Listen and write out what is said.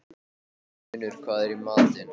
Unnur, hvað er í matinn?